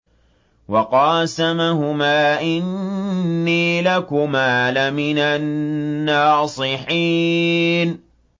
وَقَاسَمَهُمَا إِنِّي لَكُمَا لَمِنَ النَّاصِحِينَ